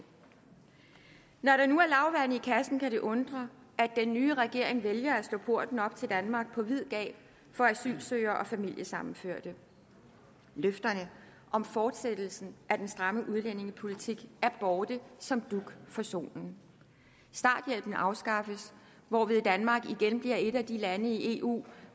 når der nu er lavvande i kassen kan det undre at den nye regering vælger at slå porten til danmark op på vid gab for asylsøgere og familiesammenførte løfterne om fortsættelsen af den stramme udlændingepolitik er borte som dug for solen starthjælpen afskaffes hvorved danmark igen bliver et af de lande i eu